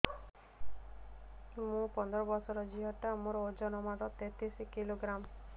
ମୁ ପନ୍ଦର ବର୍ଷ ର ଝିଅ ଟା ମୋର ଓଜନ ମାତ୍ର ତେତିଶ କିଲୋଗ୍ରାମ